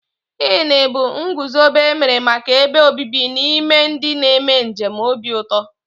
Inn bụ ngụzobe emere màkà ebe obibi n'ime ndị na -eme njem obi ụtọ.